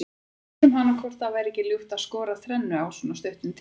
Við spurðum hana hvort það væri ekki ljúft að skora þrennu á svona stuttum tíma.